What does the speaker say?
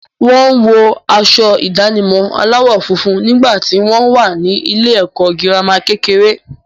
Wo wọ aṣọ ìdánimọ̀ aláwọ̀ funfun nígbà tí wo wà ní ilé-ẹ̀kọ́ girama kékeré.